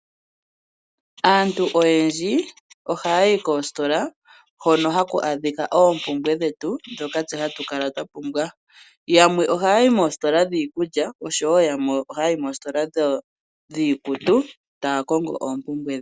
Aantu oyendji ohaya yi koositola hono haku adhika oompumbwe dhetu ndhoka tse hatu kala twa pumbwa. Yamwe ohaya yi moositola dhiikulya oshowo yamwe ohaya yi moositola dhiikutu ta ya kongo oompumbwe dhawo.